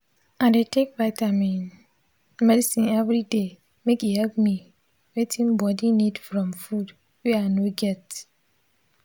i dey take vitamin medicine every day make e help me wetin body need from food were i no get.